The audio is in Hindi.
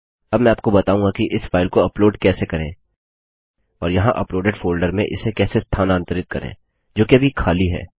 अब मैं आपको बताऊँगा कि इस फाइल को अपलोड कैसे करें और यहाँ अपलोडेड फोल्डर में इसे कैसे स्थानांतरित करें जोकि अभी खाली है